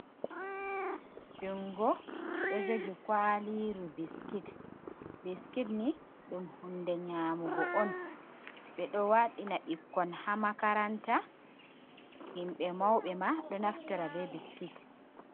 Junngo ɗo jogi kuwaliru biskit, biskit ni ɗum hunnde nyamugo on ɓeɗo waɗina ɓikkon ha makaranta, yimɓe mawɓe ma ɗo naftora be biskit.